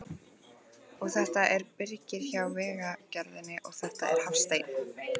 Og þetta er Birgir hjá Vegagerðinni, og þetta er Hafsteinn.